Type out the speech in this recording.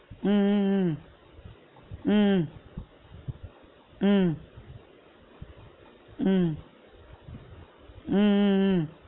உம் உம் உம் உம் உம் உம் உம் உம் உம்